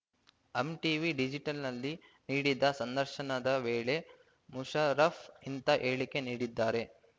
ಹಮ್ TV ಡಿಜಿಟಲ್‌ನಲ್ಲಿ ನೀಡಿದ ಸಂದರ್ಶನದ ವೇಳೆ ಮುಷರಫ್ ಇಂತ ಹೇಳಿಕೆ ನೀಡಿದ್ದಾರೆ